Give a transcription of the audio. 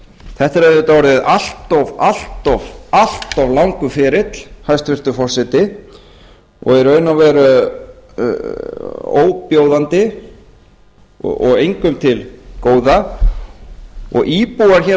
þetta er auðvitað orðið allt of langur ferill hæstvirtur forseti og í raun og veru bjóðandi og engum til góða íbúar hér á